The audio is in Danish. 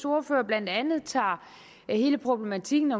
ordfører blandt andet tager hele problematikken